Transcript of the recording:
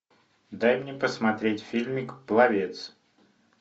дай мне посмотреть фильмик пловец